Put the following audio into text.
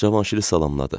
Cavanşiri salamladı.